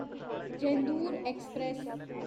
Chendur express